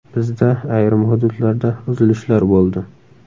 Bizda ayrim hududlarda uzilishlar bo‘ldi.